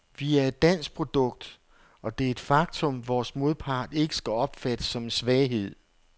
Vi er et dansk produkt, og det er et faktum, vores modpart ikke skal opfatte som en svaghed.